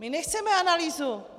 My nechceme analýzu!